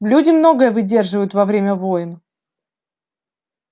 люди многое выдерживают во время войн